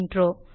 நன்றி